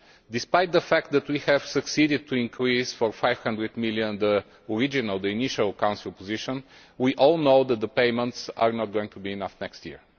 Despite the fact that we have succeeded in increasing by EUR 500 million the initial Council position, we all know that the payments are not going to be enough next year.